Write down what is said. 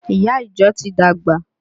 Ìyá ìjọ ti dàgbà